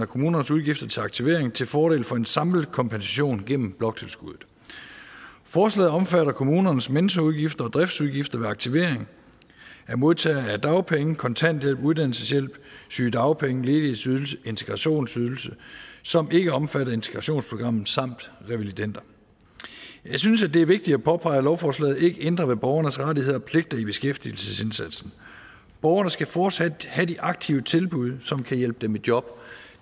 kommunernes udgifter til aktivering til fordel for en samlet kompensation gennem bloktilskuddet forslaget omfatter kommunernes mentorudgifter og driftsudgifter ved aktivering af modtagere af dagpenge kontanthjælp uddannelseshjælp sygedagpenge ledighedsydelse integrationsydelse som ikke er omfattet af integrationsprogrammet samt revalidender jeg synes at det er vigtigt at påpege at lovforslaget ikke ændrer ved borgernes rettigheder og pligter i beskæftigelsesindsatsen borgerne skal fortsat have de aktive tilbud som kan hjælpe dem i job